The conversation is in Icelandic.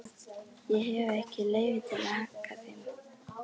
Ég hef ekki leyfi til að hagga þeim.